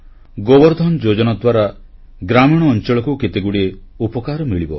ଗୋବର ଧନ ଯୋଜନା ଦ୍ୱାରା ଗ୍ରାମୀଣ ଅଂଚଳକୁ କେତେଗୁଡ଼ିଏ ଉପକାର ମିଳିବ